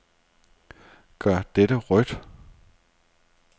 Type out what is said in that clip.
Gør dette rødt.